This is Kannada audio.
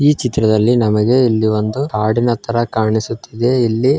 ಈ ಚಿತ್ರದಲ್ಲಿ ನಮಗೆ ಇಲ್ಲಿ ಒಂದು ಹಾಡಿನ ತರಾ ಕಾಣಿಸುತ್ತಿದೆ ಇಲ್ಲಿ --